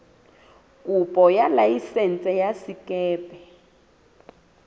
kopo ya laesense ya sekepe